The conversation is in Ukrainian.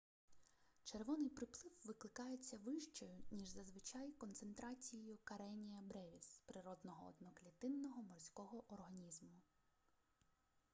червоний приплив викликається вищою ніж зазвичай концентрацією кареніа бревіс природного одноклітинного морського організму